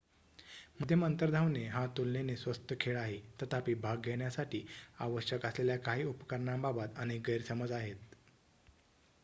मध्यम अंतर धावणे हा तुलनेने स्वस्त खेळ आहे तथापि भाग घेण्यासाठी आवश्यक असलेल्या काही उपकरणांबाबत अनेक गैरसमज आहेत